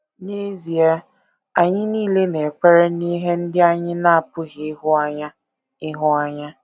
N’ezie, anyị nile na - ekwere n’ihe ndị anyị na - apụghị ịhụ anya. ịhụ anya.